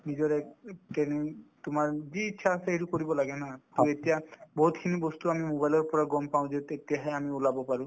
নিজৰে তোমাৰ যি ইচ্ছা আছে সেইটো কৰিব লাগে to এতিয়া বহুতখিনি বস্তু আমি mobile ৰ পৰা গম পাওঁ যে তেতিয়াহে আমি ওলাব পাৰো